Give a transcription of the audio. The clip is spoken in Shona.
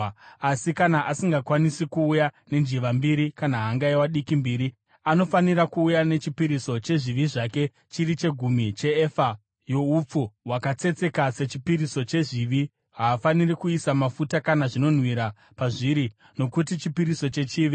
“ ‘Asi, kana asingakwanisi kuuya nenjiva mbiri kana hangaiwa diki mbiri, anofanira kuuya nechipiriso chezvivi zvake chiri chegumi cheefa youpfu hwakatsetseka sechipiriso chezvivi. Haafaniri kuisa mafuta kana zvinonhuhwira pazviri nokuti chipiriso chechivi.